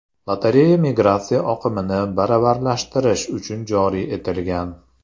Lotereya migratsiya oqimini baravarlashtirish uchun joriy etilgan.